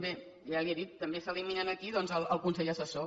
bé ja li ho he dit també s’elimina aquí doncs el consell assessor